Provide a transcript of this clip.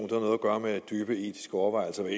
noget at gøre med dybe etiske overvejelser hver